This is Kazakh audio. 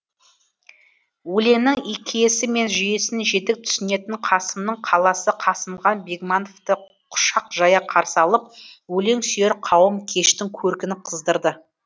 өлеңнің киесі мен жүйесін жетік түсінетін қасымның қаласы қасымхан бегмановты құшақ жая қарсы алып өлең сүйер қауым кештің көркін қыздырды